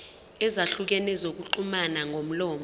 ezahlukene zokuxhumana ngomlomo